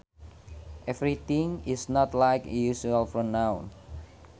Everything is not like a usual pronoun